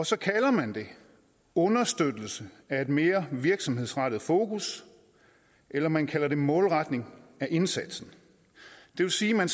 så kalder man det understøttelse af et mere virksomhedsrettet fokus eller man kalder det målretning af indsatsen det vil sige at man